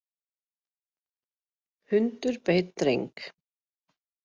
Hundur beit dreng